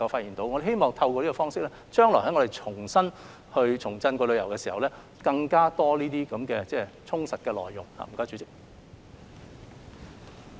因此，我們希望透過這個方式，待將來旅遊業重振之時，能有更多充實的內容。